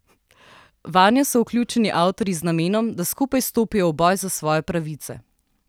Vanjo so vključeni avtorji z namenom, da skupaj stopijo v boj za svoje pravice.